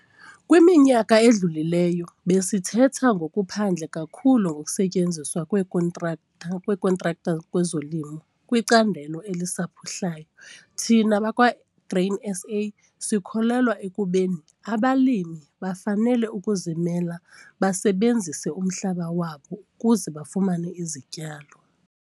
Kwiminyaka edlulileyo besithetha ngokuphandle kakhulu ngokusetyenziswa kweekhontraktha kweekhontraktha kwezolimo kwicandelo elisaphuhlayo. Thina bakwaGrain SA sikholelwa ekubeni abalimi bafanele ukuzilimela basebenzise umhlaba wabo ukuze bafumane izityalo.